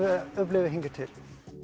upplifað hingað til